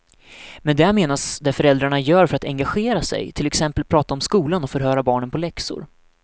Med det menas det föräldrarna gör för att engagera sig, till exempel prata om skolan och förhöra barnen på läxor.